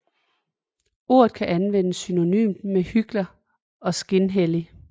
Ordet kan anvendes synonymt med hykler og skinhellig